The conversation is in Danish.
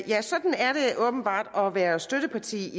ja sådan er det åbenbart at være støtteparti